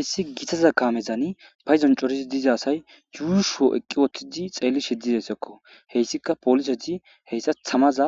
issi gitaza kaamezani payzon corizi diza asay yuushuo eqqi wottidi xeelli shiddidayssakko heyssika polise di heyssa tamaza